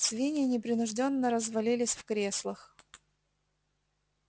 свиньи непринуждённо развалились в креслах